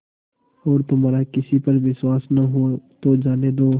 और तुम्हारा किसी पर विश्वास न हो तो जाने दो